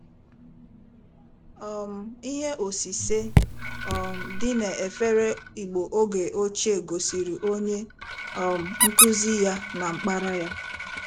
um Ihe osise um dị n’efere Igbo oge ochie gosịrị onye um nkụzi ya na mkpara ya.